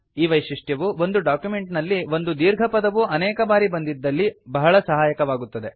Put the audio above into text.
ಈ ವೈಶಿಷ್ಟ್ಯವು ಒಂದು ಡಾಕ್ಯುಮೆಂಟ್ ನಲ್ಲಿ ಒಂದು ದೀರ್ಘ ಪದವು ಅನೇಕ ಬಾರಿ ಬಂದಿದ್ದಲ್ಲಿ ಬಹಳ ಸಹಾಯಕವಾಗುತ್ತದೆ